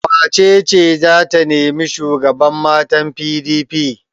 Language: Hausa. Wace ce za ta nemi shugaban matan PDP?